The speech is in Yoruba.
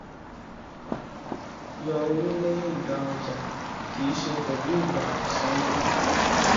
yọ owó lẹyìn gba ọjà kì í ṣe pẹlú ìgbà sanwó